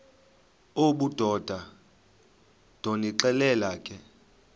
obudoda ndonixelela ke